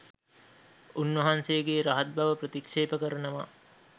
උන්වහන්සේගේ රහත් බව ප්‍රතික්ෂේප කරනවා